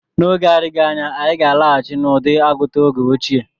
N'oge na-adịghị anya, anyị ga-alaghachi n'ụdị agụta oge ochie.